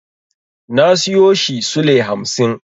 Na siyo shi sule hamsin.